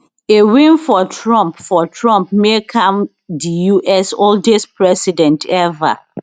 a win for trump for trump make am di us oldest president ever